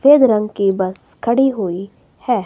फेद रंग की बस खड़ी हुई है।